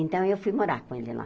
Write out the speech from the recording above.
Então, eu fui morar com ele lá.